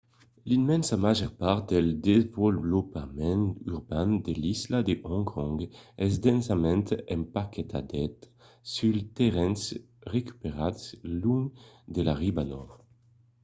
l'immensa màger part del desvolopament urban de l'isla de hong kong es densament empaquetada suls terrenhs recuperats long de la riba nòrd